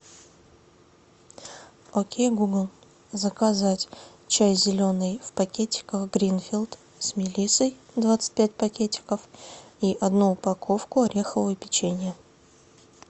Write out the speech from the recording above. окей гугл заказать чай зеленый в пакетиках гринфилд с мелиссой двадцать пять пакетиков и одну упаковку орехового печенья